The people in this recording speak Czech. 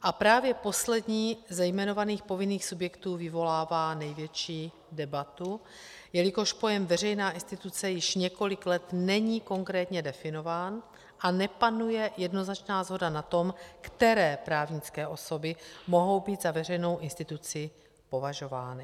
A právě poslední ze jmenovaných povinných subjektů vyvolává největší debatu, jelikož pojem veřejná instituce již několik let není konkrétně definován a nepanuje jednoznačná shoda na tom, které právnické osoby mohou být za veřejnou instituci považovány.